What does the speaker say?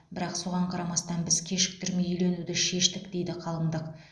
бірақ соған қарамастан біз кешіктермей үйленуді шештік дейді қалыңдық